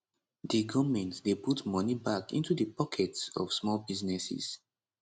di goment dey put money back into di pockets of small businesses